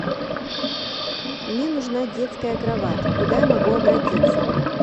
мне нужна детская кровать куда я могу обратиться